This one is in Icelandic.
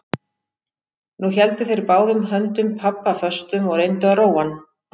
Nú héldu þeir báðum höndum pabba föstum og reyndu að róa hann.